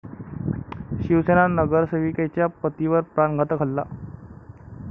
शिवसेना नगरसेविकेच्या पतीवर प्राणघातक हल्ला